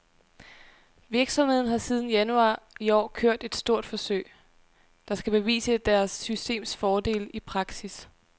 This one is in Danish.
Virksomheden har siden januar i år kørt et stort forsøg, der skal bevise deres systems fordele i praksis.